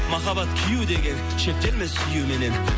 махаббат күю деген шектелме сүюменен